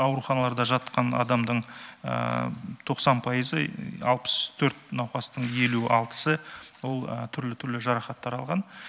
ауруханаларда жатқан адамдың тоқсан пайызы алпыс төрт науқастың елу алтысы ол түрлі түрлі жарақаттар алған